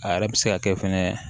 A yɛrɛ bɛ se ka kɛ fɛnɛ